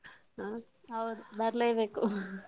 ಹೌದು ಬರ್ಲೆಬೇಕು.